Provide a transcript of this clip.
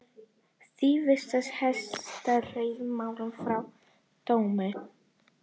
Því vísar Hæstiréttur málinu frá dómi